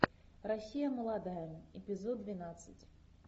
россия молодая эпизод двенадцать